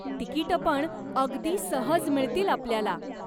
तिकीटंपण अगदी सहज मिळतील आपल्याला.